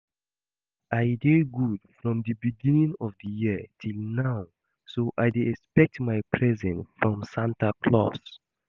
I dey good from the beginning of the year till now so I dey expect my present from Santa Claus